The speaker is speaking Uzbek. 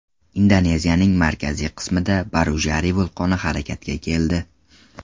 Indoneziyaning markaziy qismida Barujari vulqoni harakatga keldi.